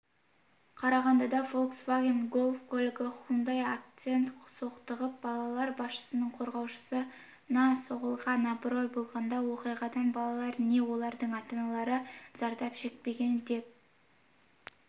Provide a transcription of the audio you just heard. қарағандыда фольксваген гольф көлігі хундай акцентпен соқтығысып балалар бақшасының қоршауына соғылған абырой болғанда оқиғадан балалар не олардың ата-аналары зардап шекпеген деп